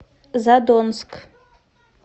задонск